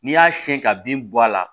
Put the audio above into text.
N'i y'a siyɛn ka bin bɔ a la